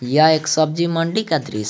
यह एक सब्जी मंडी का दृश्य--